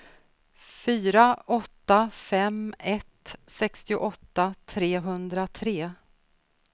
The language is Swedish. fyra åtta fem ett sextioåtta trehundratre